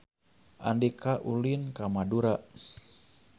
Andika ulin ka Madura